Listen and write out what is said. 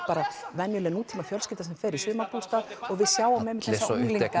venjuleg sem fer í sumarbústað og við sjáum þessa unglinga